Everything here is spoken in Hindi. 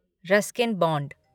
Ruskin bond